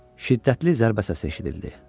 Şiddətli zərbə səsi eşidildi.